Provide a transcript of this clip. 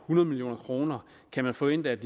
hundrede million kroner kan man forvente at